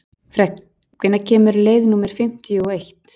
Fregn, hvenær kemur leið númer fimmtíu og eitt?